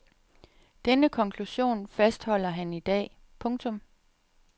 Denne konklusion fastholder han i dag. punktum